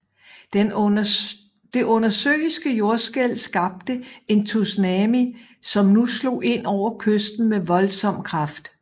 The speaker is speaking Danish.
Det undersøiske jordskælv skabte en tsunami som nu slog ind over kysten med voldsom kraft